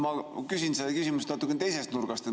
Ma küsin küsimuse natuke teise nurga alt.